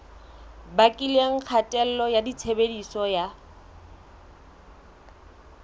bakileng kgatello ya tshebediso ya